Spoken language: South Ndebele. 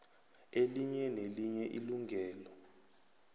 elinye nelinye ilungelo